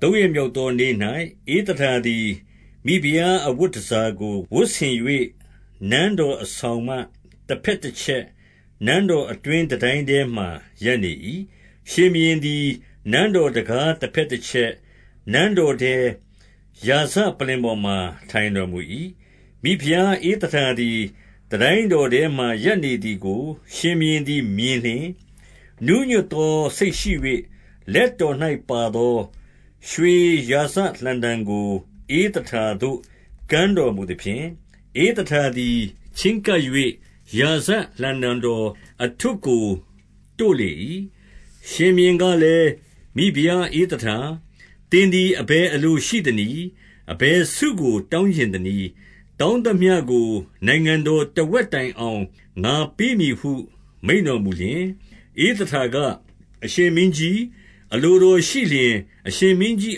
သုံးရက်မြောက်သောနေ့၌၊ ဧသတာသည် မိဖုရားအဝတ်တန်ဆာကို ဝတ်ဆင်၍၊ နန်းတော် အဆောင်မှတဘက်တချက်၊ နန်းတော်အတွင်းတန်တိုင်း ထဲမှာ ရပ်နေ၏။ ရှင်ဘုရင်သည် နန်းတော်တံခါးတဘက် တချက်၊ နန်းတော်ထဲ၊ ရာဇပလ္လင်ပေါ်မှာ ထိုင်တော်မူ၏။ 2 မိဖုရား ဧသတာသည် တန်တိုင်းတော်ထဲမှာ ရပ်နေသည်ကို ရှင်ဘုရင်မြင်လျှင်၊ နူးညွတ်သောစိတ်ရှိ၍ လက်တော်၌ပါသော ရွှေရာဇလှံတံကို၊ ဧသတာသို့ ကမ်း တော်မူသဖြင့်၊ ဧသတာသည် ချဉ်းကပ်၍ ရာဇလှံတံ တော်အထွဋ်ကို တို့လေ၏။ 3 ရှင်ဘုရင်ကလည်း၊ မိဖုရားဧသတာ၊ သင်သည် အဘယ်အလိုရှိသနည်း။ အဘယ်ဆုကို တောင်းချင် သနည်း။ တောင်းသမျှကို နိုင်ငံတော် တဝက်တိုင်အောင် ငါပေးမည်ဟု မိန့်တော်မူလျှင်၊ 4 ဧသတာက၊ အရှင်မင်းကြီး အလိုတော်ရှိလျှင်၊ အရှင်မင်းကြီး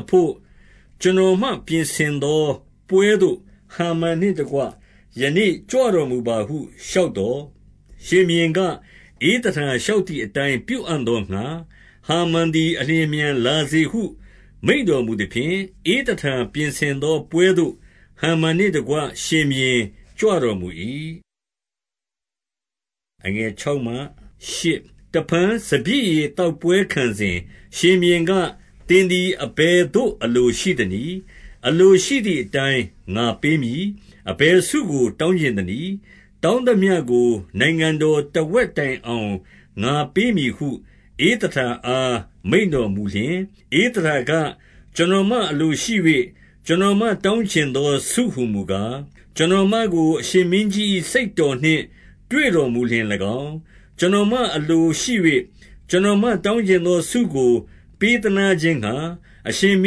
အဘို့ ကျွန်တော်မပြင်ဆင်သောပွဲသို့ ဟာမန်နှင့်တကွ ယနေ့ကြွတော်မူပါဟု လျှောက်သော်၊ 5 ရှင်ဘုရင်က၊ ဧသတာ လျှောက်သည်အတိုင်း ပြုအံ့သောငှါ၊ ဟာမန်သည် အလျင်အမြန်လာစေဟု မိန့်တော်မူသဖြင့်၊ ဧသတာပြင်ဆင်သောပွဲသို့ ဟာမန်နှင့် တကွ ရှင်ဘုရင်ကြွတော်မူ၏။ 6 တဖန်စပျစ်ရည်သောက်ပွဲခံစဉ်၊ ရှင်ဘုရင်က၊ သင်သည် အဘယ်သို့ အလိုရှိသနည်း။ အလိုရှိသည် အတိုင်း ငါပေးမည်။ အဘယ်ဆိုကို တောင်းချင်သနည်း။ တောင်းသမျှကိုနိုင်ငံတော်တဝက်တိုင်အောင် ငါပေးမည် ဟု ဧသတာအားမိန့်တော်မူလျှင်၊ 7 ဧသတာက၊ ကျွန်တော်မအလိုရှိ၍ ကျွန်တော်မ တောင်းချင်သော ဆုဟူမူကား၊ 8 ကျွန်တော်မကို အရှင်မင်းကြီး၏စိတ်နှင့် တွေ့ တော်မူလျှင်၎င်း၊ ကျွန်တော်မအလိုရှိ၍ ကျွန်တော် မတောင်းချင်သောဆုကို ပေးသနားခြင်းငှါ အရှင်မ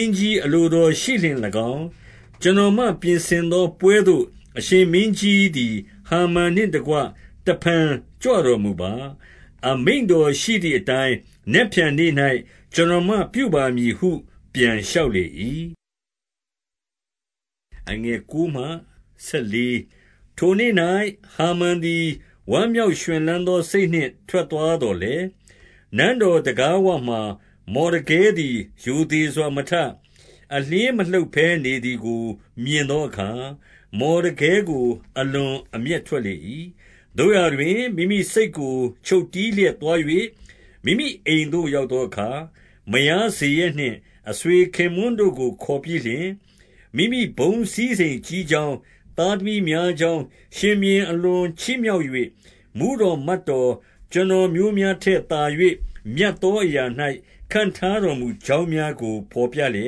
င်းကြီး အလိုတော်ရှိလျှင်၎င်း၊ ကျွန်တော်မပြင်ဆင်သော ပွဲသို့ အရှင်မင်းကြီးသည် ဟာမန်နှင့်တကွ တဖန်ကြွတော်မူပါ။ အမိန့်တော်ရှိသည်အတိုင်း နက်ဖြန်နေ့၌ ကျွန်တော်မပြု ပါမည်ဟု ပြန်လျှောက်လေ၏။ 9 ထိုနေ့၌ ဟာမန်သည် ဝမ်းမြောက်ရွှင်လန်း သော စိတ်နှင့် ထွက်သွားသော်လည်း၊ နန်းတော်တံခါးဝ မှာ မော်ဒကဲသည် ရိုသေစွာမထ၊ အလျှင်းမလှုပ်ဘဲနေ သည်ကို မြင်သောအခါ၊ မော်ဒကဲကို အလွန်အမျက် ထွက်လေ၏။ 10 သို့ရာတွင် မိမိစိတ်ကို ချုပ်တည်းလျက်သွား၍၊ မိမိအိမ်သို့ရောက်သောအခါ၊ မယားဇေရက်နှင့် အဆွေ ခင်ပွန်းတို့ကို ခေါ်ပြီးလျှင်၊ 11 မိမိဘုန်းစည်းစိမ်ကြီးကြောင်း၊ သားသမီးများ ကြောင်း၊ ရှင်ဘုရင် အလွန်ချီးမြှောက်၍ မှူးတော် မတ်တော် ကျွန်တော်မျိုးများထက်သာ၍ မြတ်သောအရာ ၌ ခန့်ထားတော်မူကြောင်းများကို ဘော်ပြလျ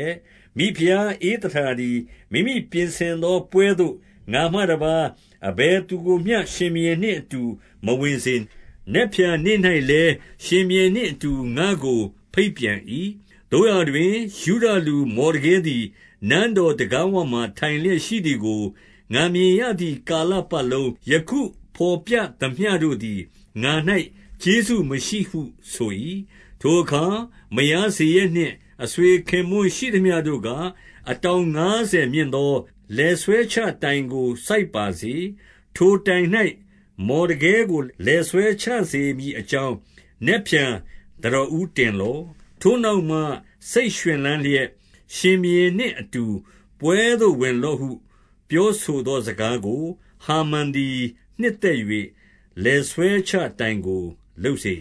က်၊ 12 မိဖုရားဧသတာသည် မိမိပြင်ဆင်သောပွဲသို့ ငါမှတပါး၊ အဘယ်သူကိုမျှ ရှင်ဘုရင်နှင့်အတူမဝင်စေ။ နက်ဖြန်နေ့၌လည်း ရှင်ဘုရင်နှင့်အတူ ငါ့ကို ဘိတ်ပြန်၏။ 13 သို့ရာတွင်၊ ယုဒလူမော်ဒကဲသည် နန်းတော် တံခါးဝမှာ ထိုင်လျက်ရှိသည်ကို ငါမြင်ရသည် ကာလ ပတ်လုံး၊ ယခုဘော်ပြသမျှတို့သည် ငါ၌ ကျေးဇူးမရှိဟု ဆို၏။ 14 ထိုအခါ မယားဇေရက်နှင့် အဆွေခင်ပွန်း ရှိသမျှတို့က၊ အတောင်ငါးဆယ်မြင့်သော လည်ဆွဲချစေ မည်အကြောင်း နက်ဖြန်သံတော်ဦးတင်လော့။ ထိုနောက် မှ စိတ်ရွှင်လန်းလျက် ရှင်ဘုရင်နှင့်အတူ ပွဲသို့ဝင်လော့ဟု ပြောဆိုသောစကားကို ဟာမန်သည် နှစ်သက်၍၊ လည်ဆွဲ ချတိုင်ကို လုပ်စေ